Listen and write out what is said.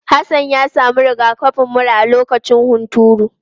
Hassan ya samu rigakafin mura a lokacin hunturu.